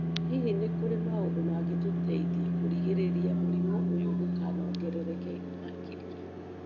Hihi nĩ kũrĩ maũndũ mangĩtũteithia kũgirĩrĩria mũrimũ ũyũ ndũkanongerereke makĩrĩa?